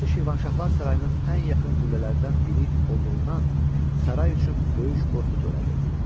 Burası Şirvanşahlar sarayının ən yaxın qüllələrindən biri olduğundan saray üçün böyük qorxu törədirdi.